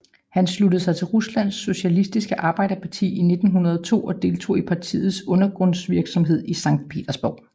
Han sluttede sig til Ruslands socialistiske arbejderparti i 1902 og deltog i partiets undergrundsvirksomhed i Sankt Petersborg